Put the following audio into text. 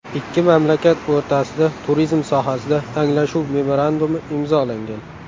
Ikki mamlakat o‘rtasida turizm sohasida Anglashuv memorandumi imzolangan.